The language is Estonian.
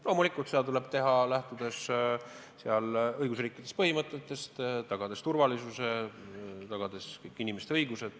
Loomulikult, seda tuleb teha, lähtudes õigusriigi põhimõtetest, tagades turvalisuse, tagades kõigi inimeste õigused.